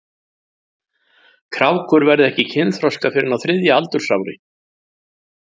Krákur verða ekki kynþroska fyrr en á þriðja aldursári.